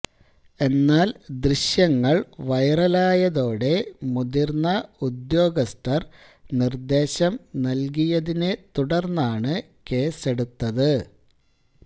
എന്നാല് ദൃശ്യങ്ങള് വൈറലായതോടെ മുതിര്ന്ന ഉദ്യോഗസ്ഥര് നിര്ദേശം നല്കിയതിനെത്തുടര്ന്നാണ് കേസെടുത്തത്